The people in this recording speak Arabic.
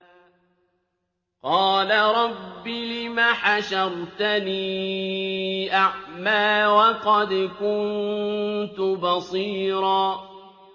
قَالَ رَبِّ لِمَ حَشَرْتَنِي أَعْمَىٰ وَقَدْ كُنتُ بَصِيرًا